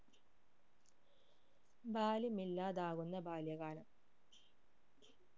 ബാല്യമില്ലാതാകുന്ന ബാല്യ കാലം